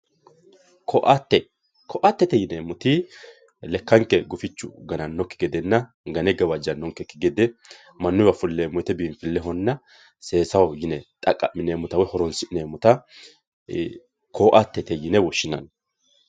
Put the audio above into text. Koatte, koattete yineemmoti lekkanke gufichu gananokki gedenna gane gawajanonkekki gede mannuwa fuleemmo woyte biinfilehonna seesaho yine xaqa'mineemmotta woyi horonsi'neemmotta koattete yine woshshinanni.